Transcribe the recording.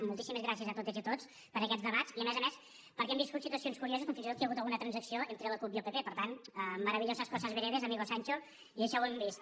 moltíssimes gràcies a totes i a tots per aquests debats i a més a més perquè hem viscut situacions curioses com fins i tot que hi ha hagut alguna transacció entre la cup i el pp per tant maravillosas cosas veredes amigo sancho i això ho hem vist